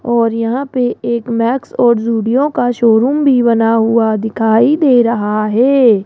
और यहां पे एक मैक्स और जुडियो का शोरूम भी बना हुआ दिखाई दे रहा है।